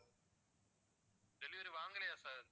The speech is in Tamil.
delivery வாங்கலையா sir